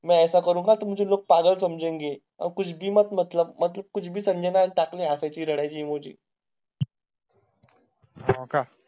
संजना टाकले हसायचे रडायचे